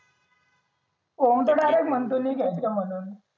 ओम तर direct म्हणतो मि घ्यायचं म्हणून